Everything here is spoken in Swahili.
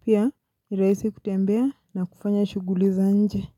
pia nirahisi kutembea na kufanya shuguli za nje.